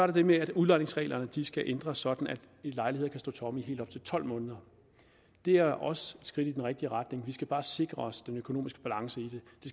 det med at udlejningsreglerne skal ændres sådan at lejligheder kan stå tomme i helt op til tolv måneder det er også skridt i den rigtige retning vi skal bare sikre os økonomisk balance i